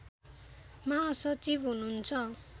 महासचिव हुनुहुन्छ